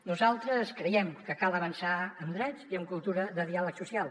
nosaltres creiem que cal avançar en drets i en cultura de diàleg social